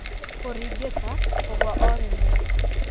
Kũringĩka, kũgũa o rĩmwe,